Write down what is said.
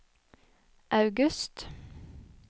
august